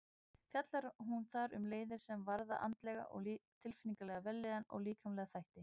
Fjallar hún þar um leiðir sem varða andlega og tilfinningalega vellíðan og líkamlega þætti.